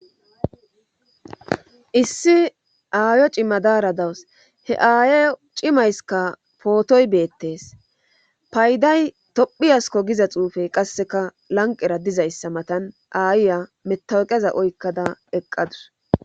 issi aayo cima daara dawus he aayo cimayskka pootoy beettees payday tophiyasko giza xuufe qasseka lanqera dizayssa matan aayiya metaqeza oykkada eqqadus